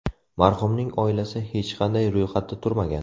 Marhumning oilasi hech qanday ro‘yxatda turmagan.